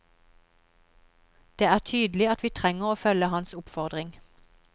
Det er tydelig at vi trenger å følge hans oppfordring.